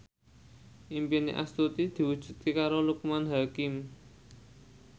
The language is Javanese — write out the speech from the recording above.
impine Astuti diwujudke karo Loekman Hakim